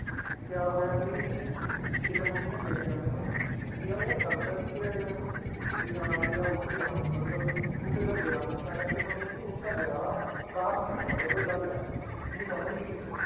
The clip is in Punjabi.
ਕਿਆ ਹੋਇਆ ਜੀ ਕਿਤੇ ਮੰਮੀ ਨੇ ਦੇਖ ਲਿਆ ਮੈਨੂੰ, ਵੀ ਆਹ ਯਾਰ ਡਰਦਾ ਕਿਉਂ ਪਿਆ ਯਾਰ, ਵੀ ਹਾਂ ਵੀ ਆਹ ਉੱਠ ਗਿਆ ਹੁਣ ਮਤਲਬ ਉੱਠ ਤਾਂ ਗਿਆ ਮੰਮਾ ਕਹਿੰਦੀ ਮੰਮੀ ਕਹਿੰਦੀ ਉੱਠ ਤਾਂ ਗਿਆ ਬਾਹਰ ਨੀ ਆਉਂਦਾ ਪਿਆ ਕੋਈ ਗੱਲ ਹੈ, ਮੰਮੀ ਸਮਝ ਗਈ